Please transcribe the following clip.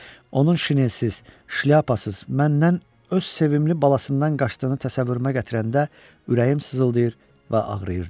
Onun şinesiz, şlyapasız, məndən, öz sevimli balasından qaçdığını təsəvvürümə gətirəndə ürəyim sızıldayır və ağrıyırdı.